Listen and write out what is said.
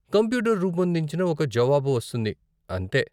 Computer రూపొందించిన ఒక జవాబు వస్తుంది, అంతే.